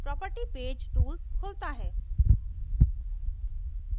properties page tools रखता है